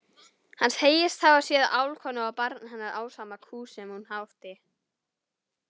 Hann segist hafa séð álfkonu og barn hennar ásamt kú sem hún átti.